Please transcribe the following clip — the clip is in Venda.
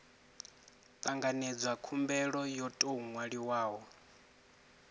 tanganedzwa khumbelo yo tou nwaliwaho